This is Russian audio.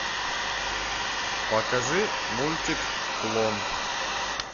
покажи мультик клон